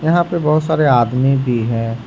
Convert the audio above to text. यहां पे बहुत सारे आदमी भी है।